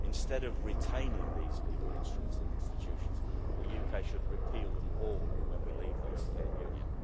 Instead of retaining these legal instruments and institutions, the UK should repeal them all when we leave the European Union.